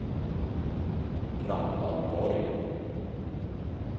Ragnvald Borg